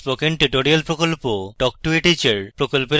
spoken tutorial প্রকল্প talk to a teacher প্রকল্পের অংশবিশেষ